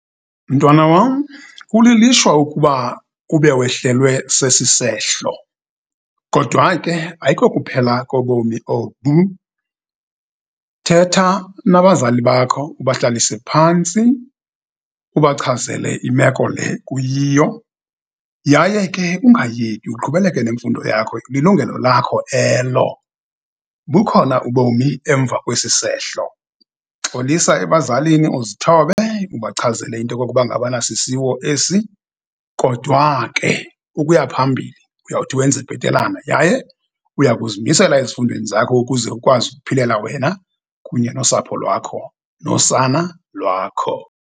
Mntwana wam, kulilishwa ukuba ube wehlelwe sesi sehlo, kodwa ke ayikokuphela kobomi obu. Thetha nabazali bakho, ubahlalise phantsi, ubachazele imeko le kuyiyo, yaye ke ungayeki, uqhubeleke nemfundo yakho, lilungelo lakho elo, bukhona ubomi emva kwesi sehlo. Xolisa ebazalini, uzithobe, ubachazele into yokokuba ngabana sisiwo esi, kodwa ke ukuya phambili uyawuthi wenze bhetelana, yaye uya kuzimisela ezifundweni zakho, ukuze ukwazi ukuphilela wena, kunye nosapho lwakho, nosana lwakho.